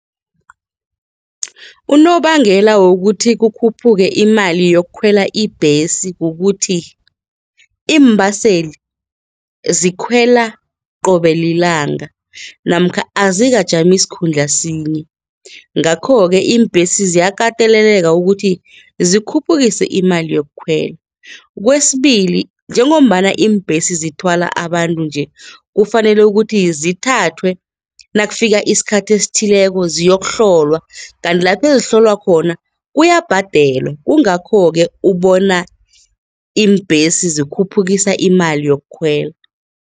Unobangela wokuthi kukhuphuke imali yokukhwela ibhesi kukuthi, iimbaseli zikhwela qobe lilanga namkha azikajami sikhundla sinye, ngakho-ke iimbhesi ziyakateleleka ukuthi zikhuphukise imali yokukhwela kwesibili, njengombana iimbhesi zithwala abantu nje kufanele ukuthi zithathwe nakufika isikhathi esithileko ziyokuhlolwa kanti lapho ezihlolwa khona kuyabhadelwa kungakho-ke ubona iimbhesi zikhuphukisa imali yokukhwela.